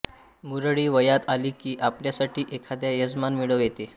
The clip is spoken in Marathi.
मुरळी वयात आली की आपल्यासाठी एखादा यजमान मिळविते